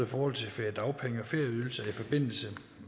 forhold til feriedagpenge og ferieydelse i forbindelse